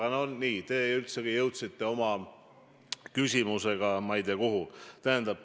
Aga te jõudsite oma küsimusega ma ei tea kuhu.